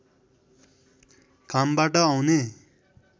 घामबाट आउने